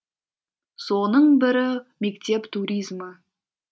соның бірі мектеп туризмі